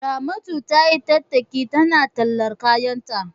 Ramatu tayi tattaki tana tallar kayanta.